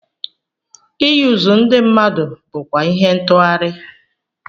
Iyuzu ndị mmadụ bụkwa ihe ntughari.